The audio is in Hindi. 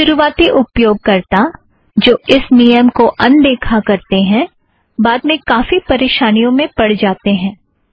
शुरुवाती उपयोगकर्ता जो इस नियम को अनदेखा करतें हैं बाद में काफी परेशानियों में पड़ जातेँ हैं